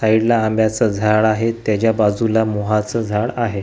साईडला आंब्याचं झाड आहे त्याच्या बाजूला मोहाचं झाडं आहे.